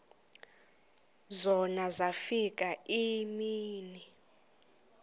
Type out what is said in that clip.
zona zafika iimini